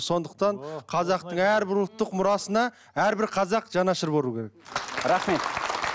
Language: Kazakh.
сондықтан қазақтың әрбір ұлттық мұрасына әрбір қазақ жанашыр болуы керек рахмет